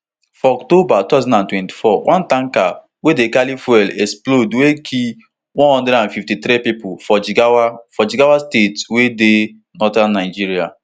for october two thousand and twenty-four one tanker wey dey carry fuel explode wey kill one hundred and fifty-three pipo for jigawa for jigawa state wey dey northern nigeria